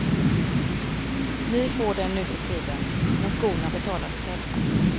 Vi får den nuförtiden, men skorna betalar vi själva.